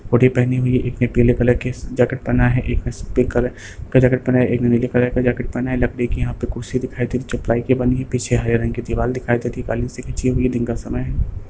Hoodie पहनी हुई है एक ने पीले कलर के जैकेट पहना है एक ने सफेद कलर का जैकेट पहना है एक ने नीले कलर का जैकेट पहना है लकड़ी की यहां पे कुर्सी दिखाई दे रही है जो प्लाई की बनी है पीछे हरे रंग की दिवाल दिखाई दे रही है काली सी खींची हुई दिन का समय है।